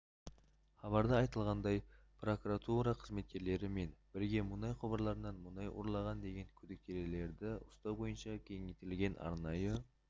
хабарда айтылғандай прокуратура қызметкерлері мен бірге мұнай құбырларынан мұнай ұрлаған деген күдіктілерді ұстау бойынша кеңейтілген арнайы